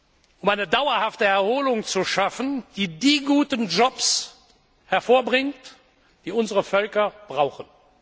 um eine dauerhafte Erholung zu schaffen, die die guten Jobs hervorbringt, die unsere Völker brauchen.